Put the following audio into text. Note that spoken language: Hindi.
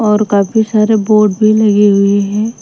और काफी सारे बोर्ड भी लगे हुए हैं।